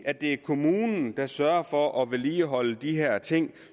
at det er kommunen der sørger for at vedligeholde de her ting